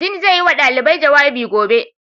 Dean zai yi wa ɗalibai jawabi gobe.